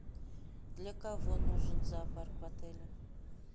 для кого нужен зоопарк в отеле